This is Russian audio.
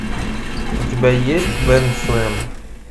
у тебя есть бэндслэм